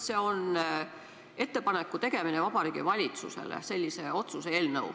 See on ettepaneku tegemine Vabariigi Valitsusele, sellise otsuse eelnõu.